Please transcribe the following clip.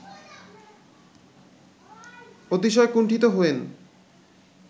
অতিশয় কুণ্ঠিত হয়েন